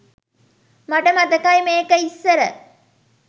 මට මතකයි මේක ඉස්සර